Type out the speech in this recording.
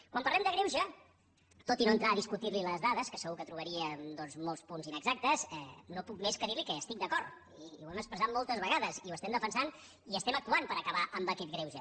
quan parlem de greuge tot i no entrar a discutir li les dades que segur que hi trobaria molts punts inexactes no puc més que dir li que hi estic d’acord i ho hem expressat moltes vegades i ho defensem i actuem per acabar aquest greuge